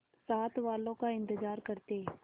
साथ वालों का इंतजार करते